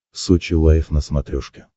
сочи лайв на смотрешке